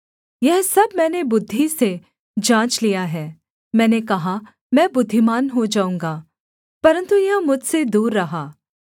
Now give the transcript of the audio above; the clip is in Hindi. यह सब मैंने बुद्धि से जाँच लिया है मैंने कहा मैं बुद्धिमान हो जाऊँगा परन्तु यह मुझसे दूर रहा